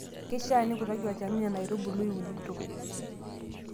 Keisha nikutaki olchani Nena aitubulu iunito.